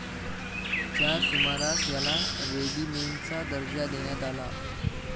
च्या सुमारास याला रेगिमेण्टचा दर्जा देण्यात आला.